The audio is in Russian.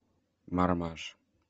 мармаш